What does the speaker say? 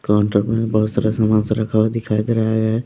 Counter में बहुत सारा सामान सब रखा हुआ दिखाई दे रहा है।